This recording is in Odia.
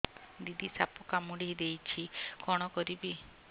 ଦିଦି ସାପ କାମୁଡି ଦେଇଛି କଣ କରିବି